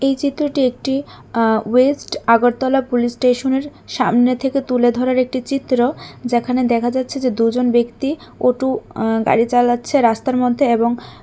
এই চিত্রটি একটি আ ওয়েস্ট আগরতলা পুলিশ স্টেশন এর সামনে থেকে তুলে ধরার একটি চিত্র যেখানে দেখা যাচ্ছে যে দুজন ব্যক্তি অটু আ গাড়ি চালাচ্ছে রাস্তার মধ্যে এবং --